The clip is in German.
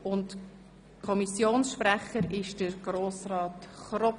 Der Kommissionssprecher ist Grossrat Kropf.